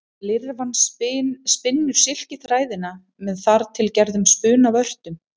Lirfan spinnur silkiþræðina með þar til gerðum spunavörtum.